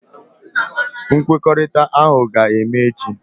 Nkwekọrịta ahụ ga-eme echi.